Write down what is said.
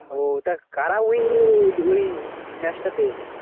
ও তো করা Win হলো রে win match টাতে